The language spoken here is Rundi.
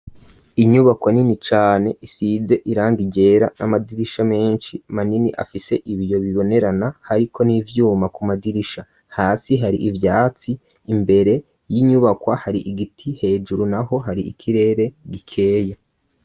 Inyubakwo nini cane isize irangi ryera n'amadirisha menshi manini afise ibiyo bibonerana, hariko n'ivyuma ku madirisha. Hasi hari ivyatsi, imbere y'inyubakwa hari igiti, hejuru n'aho hari ikirere gikeye.